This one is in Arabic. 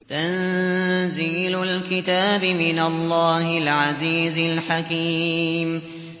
تَنزِيلُ الْكِتَابِ مِنَ اللَّهِ الْعَزِيزِ الْحَكِيمِ